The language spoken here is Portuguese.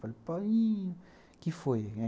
Falei, paiinho, o que foi?